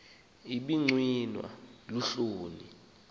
ibi gcinwa luhloni